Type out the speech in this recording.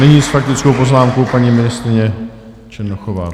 Nyní s faktickou poznámkou paní ministryně Černochová.